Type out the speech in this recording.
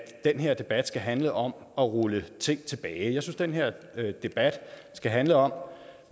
den her debat skal handle om at rulle ting tilbage jeg synes den her debat skal handle om